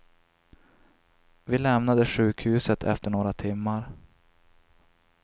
Vi lämnade sjukhuset efter några timmar.